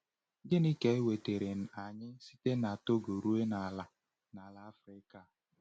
Gịnị ka wetara anyị site na Togoto ruo n’ala n’ala Afrịka a?